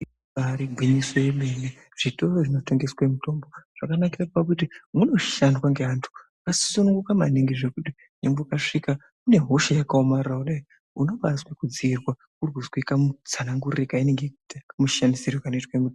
Ibari gwinyiso yemene. Zvitoro zvinotengeswe mitombo zvakanakira pakuti munoshandwa ngeantu akasununguma maningi zvekuti nyangwe ukasvika une hosha yakaomrara kudai unobazwe kudziirwa urikuzwe kamutsanangurire kamushandisire kanoitwe.